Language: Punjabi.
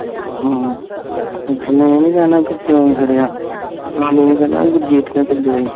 ਹਮ, ਗੱਲ ਇਹ ਨੀ ਰਹਿਣਾ ਵੀ ਕਿਓ ਫ਼ੜਿਆ ਉਹਨਾਂ ਇਹ ਕਹਣਾ ਵੀ ਘਰਜੀਤ ਨੇ ਘੱਲਿਆ ਸੀ